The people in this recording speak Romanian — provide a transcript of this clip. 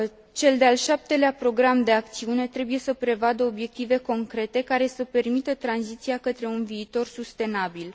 Cel de al 7 lea Program de acțiune trebuie să prevadă obiective concrete, care să permită tranziția către un viitor sustenabil.